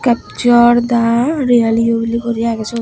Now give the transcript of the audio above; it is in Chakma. capcor da ye guri lega agey siot.